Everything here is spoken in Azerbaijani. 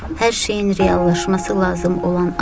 Hər şeyin reallaşması lazım olan an.